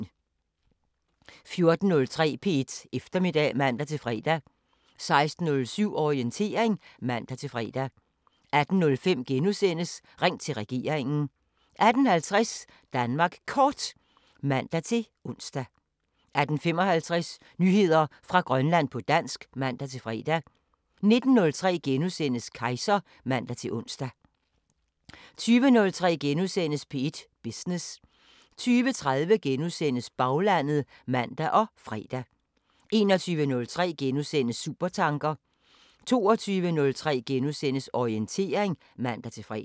14:03: P1 Eftermiddag (man-fre) 16:07: Orientering (man-fre) 18:05: Ring til regeringen * 18:50: Danmark Kort (man-ons) 18:55: Nyheder fra Grønland på dansk (man-fre) 19:03: Kejser *(man-ons) 20:03: P1 Business * 20:30: Baglandet *(man og fre) 21:03: Supertanker * 22:03: Orientering *(man-fre)